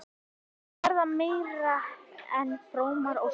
Þetta verða meira en frómar óskir.